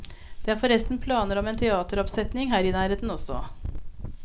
Det er forresten planer om en teateroppsetning her i nærheten også.